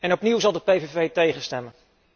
Opnieuw zal de PVV tegen stemmen.